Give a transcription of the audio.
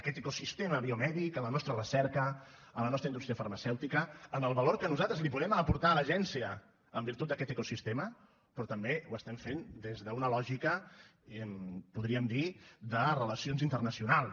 aquest ecosistema biomèdic a la nostra recerca a la nostra indústria farmacèutica al valor que nosaltres li podem aportar a l’agència en virtut d’aquest ecosistema però també ho estem fent des d’una lògica podríem dir ne de relacions internacionals